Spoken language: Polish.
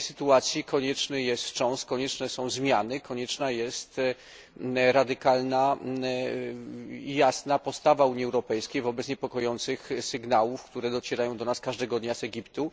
W tej sytuacji konieczny jest wstrząs, konieczne są zmiany i konieczna jest radykalna i jasna postawa Unii Europejskiej wobec niepokojących sygnałów, które docierają do nas każdego dnia z Egiptu.